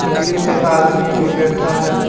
कुर्सी पे आदमी भी बैठा है।